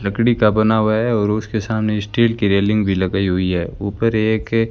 लकड़ी का बना हुआ है और उसके सामने स्टील की रेलिंग भी लगाई हुई है ऊपर एक--